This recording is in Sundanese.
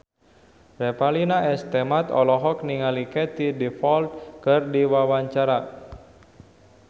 Revalina S. Temat olohok ningali Katie Dippold keur diwawancara